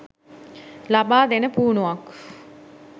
ලබා දෙන පුහුණුවක්.